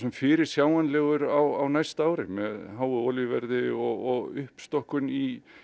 fyrirsjáanlegur á næsta ári með háu olíuverði og uppstokkun í